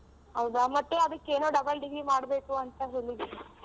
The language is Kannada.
ಹೌದಾ ಮತ್ತೆ ಅದಕ್ಕೇನೋ double degree ಮಾಡ್ಬೇಕು ಅಂತ ಹೇಳಿದ್ರು.